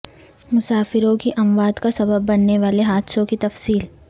مسافروں کی اموات کا سبب بننے والے حادثوں کی تفصیل